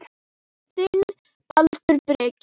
Þinn, Baldur Breki.